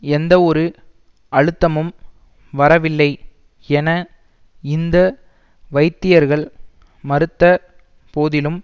எந்தவொரு அழுத்தமும் வரவில்லை என இந்த வைத்தியர்கள் மறுத்த போதிலும்